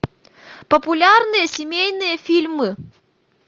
популярные семейные фильмы